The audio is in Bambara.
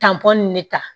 Tantɔn nin ne ta